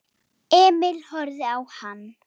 Emil horfði á hann.